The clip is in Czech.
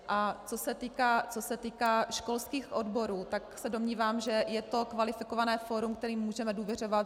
A co se týká školských odborů, tak se domnívám, že je to kvalifikované fórum, kterému můžeme důvěřovat.